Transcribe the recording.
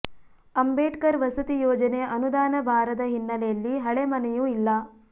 ಅಂಬೇಡ್ಕರ್ ವಸತಿ ಯೋಜನೆ ಅನುದಾನ ಬಾರದ ಹಿನ್ನೆಲೆಯಲ್ಲಿ ಹಳೆ ಮನೆಯೂ ಇಲ್ಲಾ